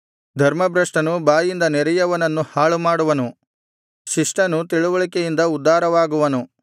ಧರ್ಮಭ್ರಷ್ಟನು ಬಾಯಿಂದ ನೆರೆಯವನನ್ನು ಹಾಳು ಮಾಡುವನು ಶಿಷ್ಟನು ತಿಳಿವಳಿಕೆಯಿಂದ ಉದ್ಧಾರವಾಗುವನು